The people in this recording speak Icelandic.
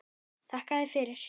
Þakka þér fyrir!